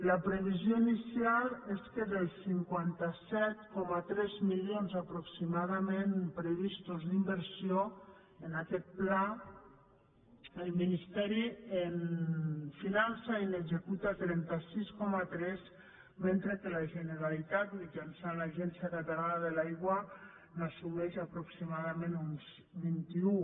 la previsió inicial és que dels cinquanta set coma tres milions aproximadament previstos d’inversió en aquest pla el ministeri en finança i n’executa trenta sis coma tres mentre que la generalitat mitjançant l’agència catalana de l’aigua n’assumeix aproximadament uns vint un